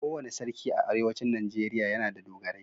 Kowane sarki a arewacin najeriya yana da dogarai.